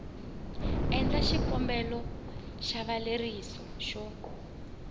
endla xikombelo xa xileriso xo